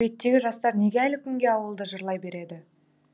әдебиеттегі жастар неге әлі күнге ауылды жырлай береді